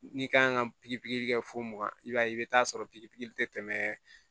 N'i kan ka pikiri pikiri kɛ fo mugan i b'a ye i bɛ taa sɔrɔ pikiri pikiri tɛ tɛmɛ